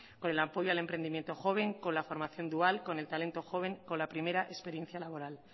con el apoyo al emprendimiento joven con la formación dual con el talento joven con la primera experiencia laboral